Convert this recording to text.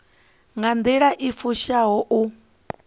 nga nḓila i fushaho u